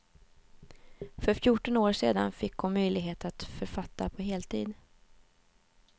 För fjorton år sedan fick hon möjlighet att författa på heltid.